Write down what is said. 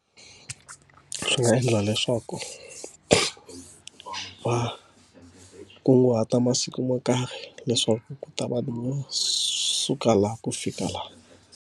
Swi nga endla leswaku va kunguhata masiku mo karhi leswaku ku ta va no suka laha ku fika laha.